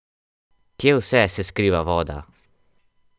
Kje vse se skriva voda?